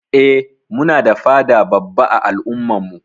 Eh Muna da fada babba ã al'umma'n mu.